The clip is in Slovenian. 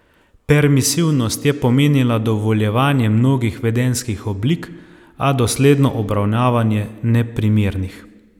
Permisivnost je pomenila dovoljevanje mnogih vedenjskih oblik, a dosledno obravnavanje neprimernih.